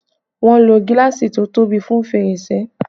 Wọn ló gíláàsì to tóbi fún fèrèsé